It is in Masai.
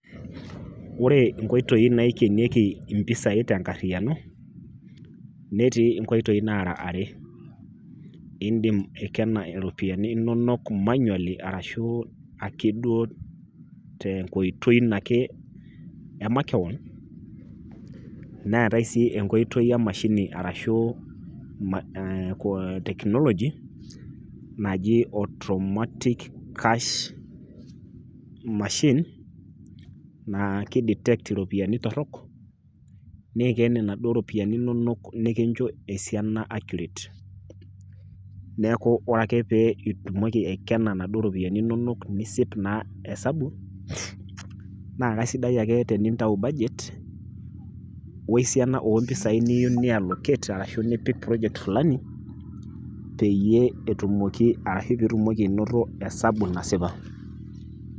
Ore nkoitoi naikenoki mpisai tenkarriano, netii nkoitoi nara are, indim aikena iropiyiani inonok manually arashu ake duo tenkoitoi ino ake emakewon, neetae sii enkoitoi emashini arashu ma te, ashu technology naji automatic cash machine naa kidetekt iropiyiani torrok, niken inaduo ropiyiani inonok nikincho esiana accurate. Neeku ore ake pee itumoki aikena inaduo ropiyiani inonok nisip naa hesabu naa kaisidai ake tenintau budget wesiana ompisai niyieu niallocate arashu nipik project fulani peyie etumoki ashu pitumoki inoto hesabu nasipa .